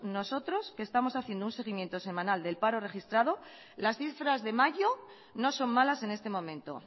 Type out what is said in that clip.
nosotros estamos haciendo un seguimiento semanal del paro registrado las cifras de mayo no son malas en este momento